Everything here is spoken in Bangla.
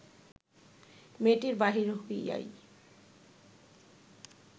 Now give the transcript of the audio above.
মেয়েটি বাহির হইয়াই